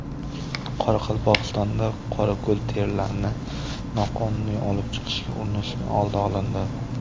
Qoraqalpog‘istonda qorako‘l terilarini noqonuniy olib chiqishga urinishning oldi olindi.